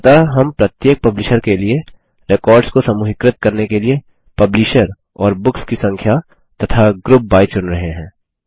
अतः हम प्रत्येक पब्लिशर के लिए रेकॉर्ड्स को समूहीकृत करने के लिए पब्लिशर और बुक्स की संख्या तथा ग्रुप बाय चुन रहे हैं